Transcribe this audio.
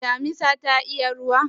Shin damisa ta iya ruwa?